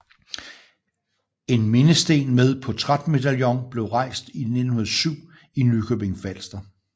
En mindesten med portrætmedaljon blev rejst 1907 i Nykøbing Falster